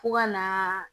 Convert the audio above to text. Fo ka na